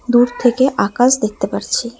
দূর থেকে আকাশ দেখতে পারছি।